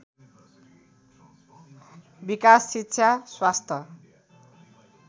विकास शिक्षा स्वास्थ्य